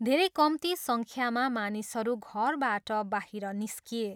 धेरै कम्ती सङ्ख्यामा मानिसहरू घरबाट बाहिर निस्किए।